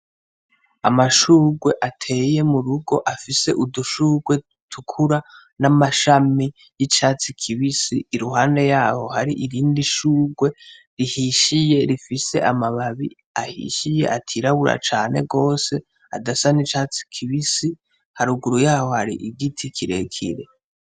Amashurwe ateye mu rugo afise udushurwe dutukura n’amashami y’icatsi kibisi iruhande yaho hari irindi shurwe rihishiye rifise amababi ahishiye atirabura cane gose adasa n’icatsi kibisi haruguru yaho hari igiti kirekire.